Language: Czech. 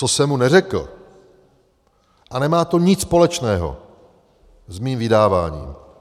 Co jsem mu neřekl, a nemá to nic společného s mým vydáváním.